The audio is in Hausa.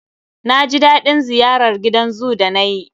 Na ji daɗin ziyarar gidan zoo da nayi.